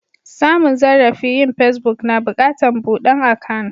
Samun zarrafi yin pesbuk, na bukatan budan akan'.